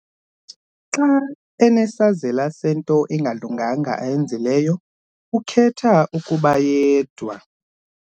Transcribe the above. Xa enesazela sento engalunganga ayenzileyo ukhetha ukuba yedwa.